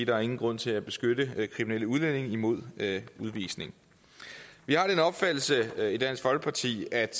er ingen grund til at beskytte kriminelle udlændinge imod udvisning vi har den opfattelse i dansk folkeparti at